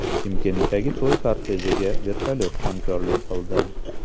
Chimkentdagi to‘y kortejiga vertolyot hamrohlik qildi .